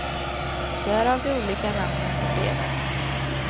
Därav de olika namnen i breven.